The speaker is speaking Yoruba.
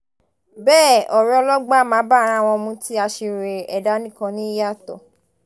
bẹ́ẹ̀ ọ̀rọ̀ ọlọgbọ́n á máa bá ara wọn mu tí aṣiwèrè ẹ̀dá nìkan ní í yàtọ̀